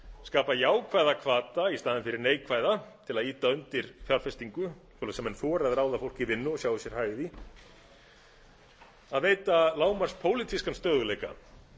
skapa jákvæða hvata í staðinn fyrir neikvæða til að ýta undir fjárfestingu svoleiðis að menn þori að ráða menn í vinnu og sjái sér hag í því að veita lágmarks pólitískan stöðugleika